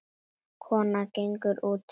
Konan gengur út.